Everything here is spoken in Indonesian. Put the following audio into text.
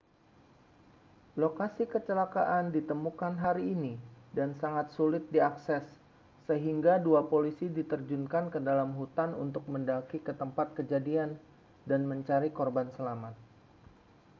lokasi kecelakaan ditemukan hari ini dan sangat sulit diakses sehingga dua polisi diterjunkan ke dalam hutan untuk mendaki ke tempat kejadian dan mencari korban selamat